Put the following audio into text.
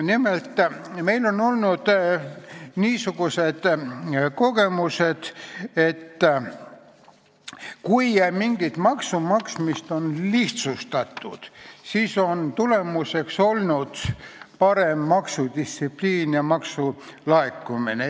Nimelt, meil on olnud niisuguseid kogemusi, et kui mingi maksu maksmist on lihtsustatud, siis on tulemuseks olnud parem maksudistsipliin ja maksulaekumine.